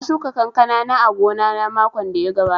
Na shuka kankana a gona na makon da ya gabata